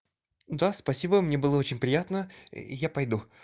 да спасибо мне было очень приятно я пойду